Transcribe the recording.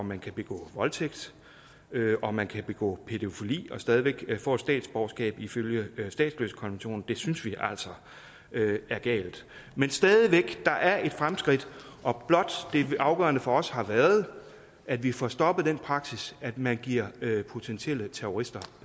man kan begå voldtægt og man kan begå pædofili og stadig væk få et statsborgerskab ifølge statsløsekonventionen det synes vi altså er galt men stadig væk der er et fremskridt og det afgørende for os har blot været at vi får stoppet den praksis at man giver potentielle terrorister